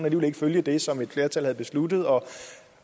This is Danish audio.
ikke vil følge det som et flertal har besluttet og